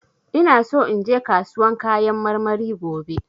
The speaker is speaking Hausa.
ina so inje kasuwan kayan marmari gobe.